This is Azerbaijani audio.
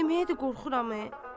Deməyə də qorxuram.